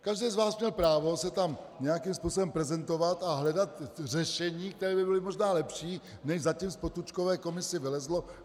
Každý z vás měl právo se tam nějakým způsobem prezentovat a hledat řešení, které by bylo možná lepší, než zatím z Potůčkovy komise vylezlo.